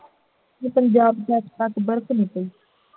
ਪੰਜਾਬ ਚ ਅੱਜ ਤਕ ਬਰਫ਼ ਨਹੀਂ ਪਈ